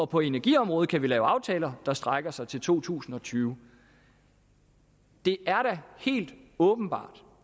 på energiområdet kan lave aftaler der strækker sig til to tusind og tyve det er da helt åbenbart